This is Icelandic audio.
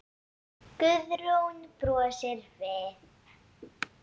Guðrún brosir við.